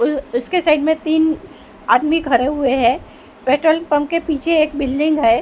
उसके साइड में तीन आदमी खड़े हुए हैं पेट्रोल पंप के पीछे एक बिल्डिंग है।